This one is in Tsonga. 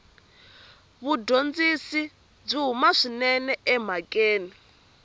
mudyondzi byi huma swinene emhakeni